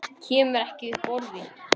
Kemur ekki upp orði.